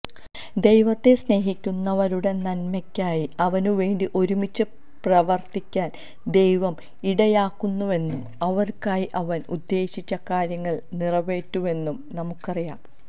ദൈവത്തെ സ്നേഹിക്കുന്നവരുടെ നന്മയ്ക്കായി അവനുവേണ്ടി ഒരുമിച്ച് പ്രവർത്തിക്കാൻ ദൈവം ഇടയാക്കുന്നുവെന്നും അവർക്കായി അവൻ ഉദ്ദേശിച്ച കാര്യങ്ങൾ നിറവേറ്റുന്നുവെന്നും നമുക്കറിയാം